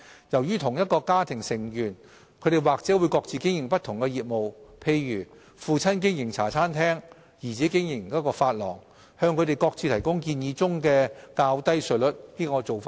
由於同一家庭的成員或會各自經營不同業務，例如父親經營茶餐廳，兒子經營髮廊，我們認為向他們各自提供建議中的較低稅率是合理的做法。